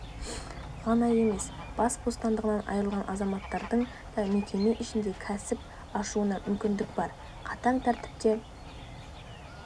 ғана емес бас бостандығынан айырылған азаматтардың да мекеме ішінде кәсіп ашуына мүмкіндік бар қатаң тәртіпте